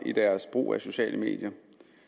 brug af sociale medier